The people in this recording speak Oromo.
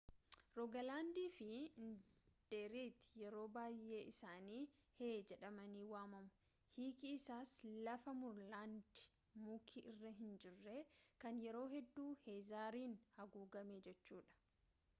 roogalaandii fi agdeeritti yeroo bayyee isaan hei jedhamanii waamamu hiiki isaas lafa muurlaandii muki irra hinjirre kan yeroo hedduu heezariin haguugame jechuudha